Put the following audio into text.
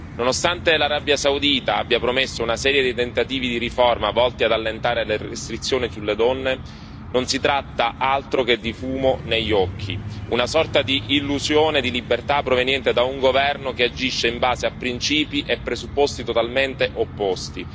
Nonostante l'Arabia Saudita abbia promesso una serie di tentativi di riforma volti ad allentare le restrizioni sulle donne, non si tratta di altro se non di fumo negli occhi, una sorta di illusione di libertà proveniente da un governo che agisce in base a principi e presupposti totalmente opposti.